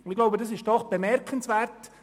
Ich glaube, das ist doch bemerkenswert.